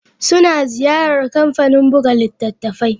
Suna ziyarar kamfanin buga littattafai.